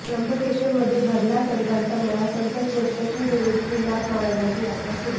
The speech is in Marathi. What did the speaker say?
त्र्यंबकेश्वरमध्ये भरला संतांचा मेळा संतश्रेष्ठ श्री निवृत्तिनाथ महाराजांची यात्रा सुरु